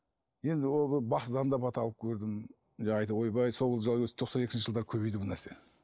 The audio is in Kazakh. енді бақсыдан да бата алып көрдім ойбай сол жылы өзі тоқсан екінші жылдары көбейді бұл нәрсе